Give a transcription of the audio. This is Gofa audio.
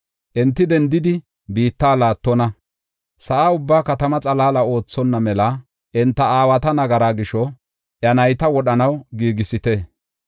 Enti dendidi biitta laattonna; sa7a ubbaa katama xalaala oothonna mela enta aawata nagaraa gisho, iya nayta wodhanaw giigisite.